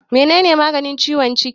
Mene ne maganin ciwon ciki?